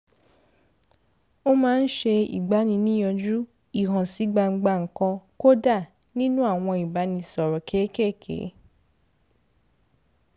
ó máa ń ṣe ìgbaniníyànjú ìhànsígbangba nǹkan kódà nínú àwọn ìbánisọ̀rọ̀ kékèèké